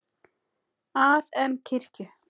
að en kirkju.